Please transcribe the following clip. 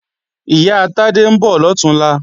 Ìyá Tádé ń bọ̀ lọ̀túnla